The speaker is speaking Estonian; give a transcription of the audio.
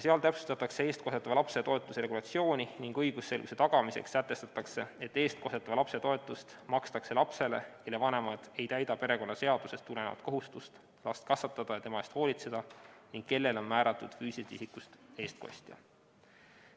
Seal täpsustatakse eestkostetava lapse toetuse regulatsiooni ning õigusselguse tagamiseks sätestatakse, et eestkostetava lapse toetust makstakse lapsele, kelle vanemad ei täida perekonnaseadusest tulenevat kohustust last kasvatada ja tema eest hoolitseda ning kellele on määratud füüsilisest isikust eestkostja.